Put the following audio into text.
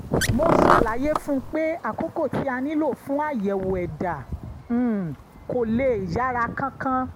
mo ṣàlàyé fún un pé àkókò tí a nílò fún àyẹ̀wò ẹ̀dá um kò lè yára kánkán